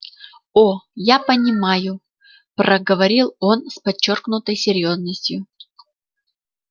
о я понимаю проговорил он с подчёркнутой серьёзностью